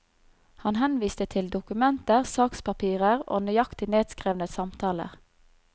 Han henviste til dokumenter, sakspapirer og nøyaktig nedskrevne samtaler.